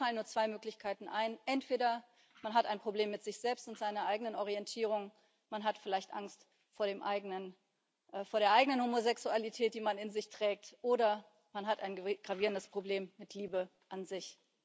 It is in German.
Mir fallen nur zwei Möglichkeiten ein Entweder man hat ein Problem mit sich selbst und seiner eigenen Orientierung, man hat vielleicht Angst vor der eigenen Homosexualität, die man in sich trägt, oder man hat ein gravierendes Problem mit Liebe an sich.